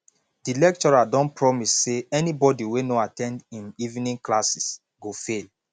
di lecturer don promise say anybody wey no at ten d him evening classes go fail